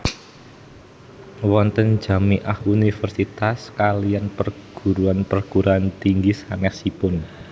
Wonten Jami ah Universitas kaliyan Perguruan perguruan tinggi sanesipun